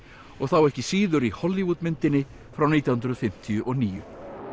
og þá ekki síður í Hollywood myndinni frá nítján hundruð fimmtíu og níu